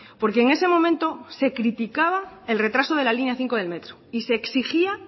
porque en ese momento se criticaba el retraso de la línea cinco de metro y se exigía